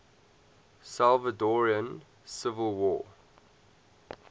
salvadoran civil war